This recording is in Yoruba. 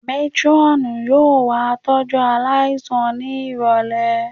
Métírọ́ọ̀nù yóò wá tọ́jú aláìsàn ní ìrọ̀lẹ̀